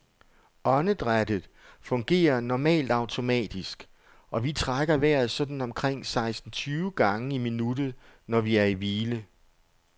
Åndedrættet fungerer normalt automatisk, og vi trækker vejret sådan omkring seksten tyve gange i minuttet, når vi er i hvile.